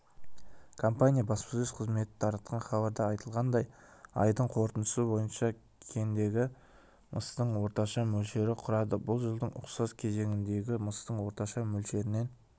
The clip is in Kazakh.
компания баспасөз қызметі таратқан хабарда айтылғандай айдың қорытындысы бойынша кендегі мыстың орташа мөлшері құрады бұл жылдың ұқсас кезеңіндегі мыстың орташа мөлшерінен